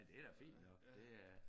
Nej det da fint nok det er